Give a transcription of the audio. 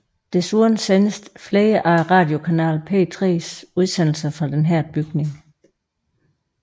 Desuden sendes flere af radiokanalen P3s udsendelser fra denne bygning